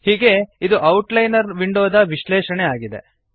ಹೀಗೆ ಇದು ಔಟ್ಲೈನರ್ ವಿಂಡೋದ ವಿಶ್ಲೇಷಣೆ ಆಗಿದೆ